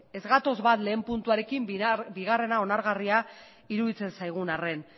ez gatoz bat lehen puntuarekin bigarrena onargarria iruditzen zaigun arren